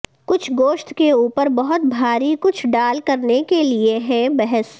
کچھ گوشت کے اوپر بہت بھاری کچھ ڈال کرنے کے لئے ہے کہ بحث